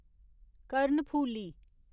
कर्णफूली